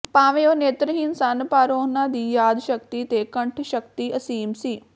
ਭਾਵੇਂ ਉਹ ਨੇਤਰਹੀਣ ਸਨ ਪਰ ਉਹਨਾਂ ਦੀ ਯਾਦ ਸ਼ਕਤੀ ਤੇ ਕੰਠ ਸ਼ਕਤੀ ਅਸੀਮ ਸੀ